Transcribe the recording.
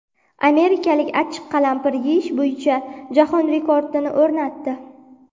Amerikalik achchiq qalampir yeyish bo‘yicha jahon rekordini o‘rnatdi .